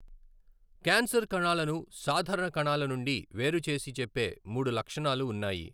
Cancer కణాలను సాధారణ కణాల నుండి వేరు చేసి చెప్పే మూడు లక్షణాలు ఉన్నాయి.